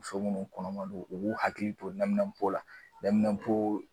Muso munnu kɔnɔma don u b'u hakili to la